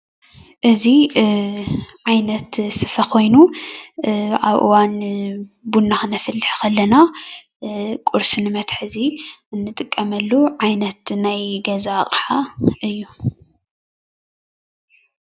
እዚ ዓይነት ስፈ ኮይኑ ኣብ እዋን ቡና ክነፍልሕ ከለና ቁርሲ ንመትሓዚ እንጥቀመሉ ናይ ገዛ ኣቃሓ እዩ።